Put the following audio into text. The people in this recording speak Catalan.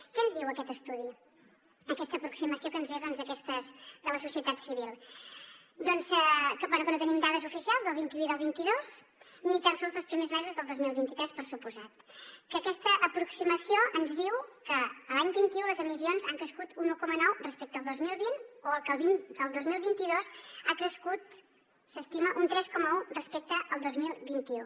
què ens diu aquest estudi aquesta aproximació que ens ve de la societat civil doncs bé com que no tenim dades oficials del vint un i del vint dos ni tan sols dels primers mesos del dos mil vint tres per descomptat aquesta aproximació ens diu que l’any vint un les emissions han crescut un un coma nou respecte el dos mil vint i que al dos mil vint dos han crescut s’estima un tres coma un respecte el dos mil vint u